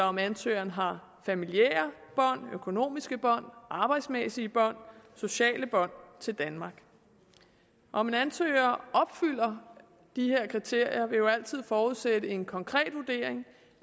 om ansøgeren har familiære bånd økonomiske bånd arbejdsmæssige bånd sociale bånd til danmark om en ansøger opfylder de her kriterier vil jo altid forudsætte en konkret vurdering